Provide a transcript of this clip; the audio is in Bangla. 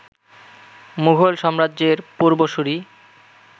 মুঘল সাম্রাজ্যের পূর্বসূরি